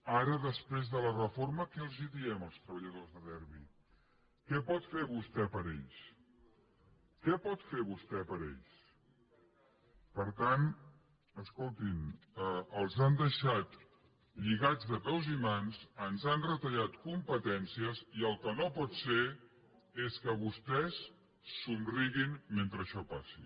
ara després de la reforma què els diem als treballadors de derbi què pot fer vostè per ells què pot fer vostè per ells per tant escolti’m els han deixat lligats de peus i mans ens han retallat competències i el que no pot ser és que vostès somriguin mentre això passi